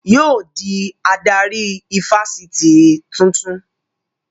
Yóò dí adarí ifásitì tuntun